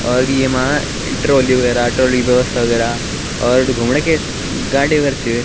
और येमा ट्राली वगैरा ट्राली की व्यवस्था वगैरा और घूमणा कि स गाडी वगेरा छ।